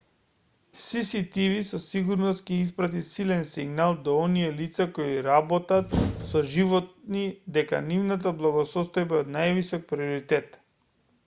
cctv со сигурност ќе испрати силен сигнал до оние лица кои работат со животни дека нивната благосостојба е од највисок приоритет